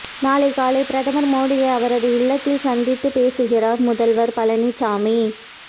நாளை காலை பிரதமர் மோடியை அவரது இல்லத்தில் சந்தித்து பேசுகிறார் முதல்வர் பழனிசாமி